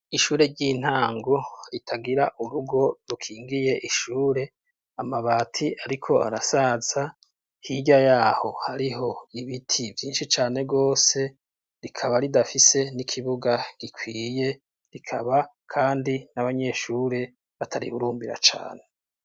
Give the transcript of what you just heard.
Ishure ry'intango ritagira urugo rukingiye ishure, amabati ariko arasaza; hirya yaho hariho ibiti vyinshi cane rwose; rikaba ridafise n'ikibuga gikwiye; rikaba kandi n'abanyeshure batarihurumbira cane.